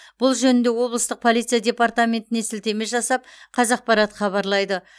бұл жөнінде облыстық полиция департаментіне сілтеме жасап қазақпарат хабарлайды